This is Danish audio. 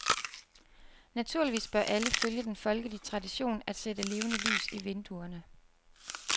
Naturligvis bør alle følge den folkelige tradition at sætte levende lys i vinduerne.